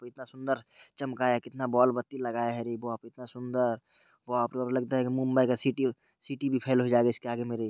कितना सुन्दर चमकाया है कितना बॉल -बत्ती लगाया है रे बाप रे कितना सुन्दर | बाप रे बाप लगता है की मुंबई का सिटी अ सिटी भी फ़ैल हो जायेगा इसके आगे मे रे।